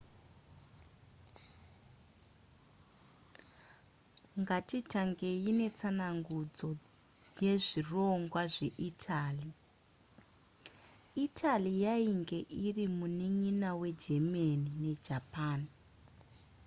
ngatitangei netsanangudzo yezvirongwa zveitaly italy yainge iri munin'ina wegermany nejapan